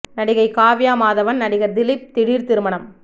நடிகை காவ்யா மாதவன் நடிகர் திலீப் திடீர் திருமணம்